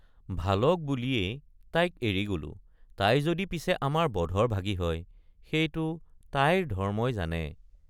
ভালক বুলিয়েই তাইক এৰি গলো তাই যদি পিছে আমাৰ বধৰ ভাগী হয় সেইটো তাইৰ ধৰ্ম্মই জানে।